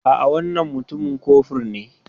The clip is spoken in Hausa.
A'a, wannan mutumin kofur ne.